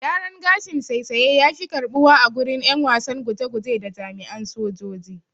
Gyaran gashin saisaye yafi karɓuwa agurin ƴan wasan guje guje da jami'an sojoji.